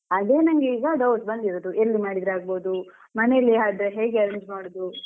ಅದೇ ನಂಗೆ ಈಗ doubt ಬಂದಿರೋದು ಎಲ್ಲಿ ಮಾಡಿದ್ರೆ ಆಗ್ಬಹುದು ಮನೆಯಲ್ಲಿ ಆದ್ರೆ ಹೇಗೆ arrange ಮಾಡುದು .